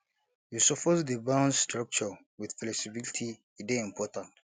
you suppose dey balance structure wit flexibility e dey important